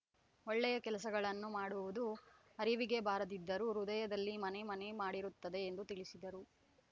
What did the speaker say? ಒಳ್ಳೆಯ ಕೆಲಸಗಳನ್ನು ಮಾಡುವುದು ಅರಿವಿಗೆ ಬಾರದಿದ್ದರೂ ಹೃದಯದಲ್ಲಿ ಮನೆ ಮನೆ ಮಾಡಿರುತ್ತದೆ ಎಂದು ತಿಳಿಸಿದರು